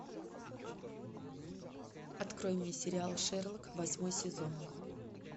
открой мне сериал шерлок восьмой сезон